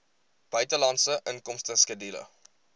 buitelandse inkomste skedule